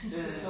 Ja ja